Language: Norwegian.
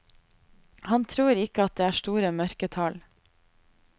Han tror ikke at det er store mørketall.